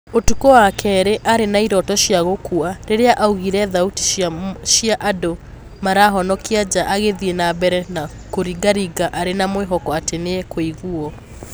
Ũtukũ wa kerĩ arĩ na ĩroto cĩa gũkua, rĩrĩa aiguire thauti cia andũ marahonokia nja agĩthii na mbere na kũringaringa arĩ na mwĩhoko atĩ nĩ ekũiguwo.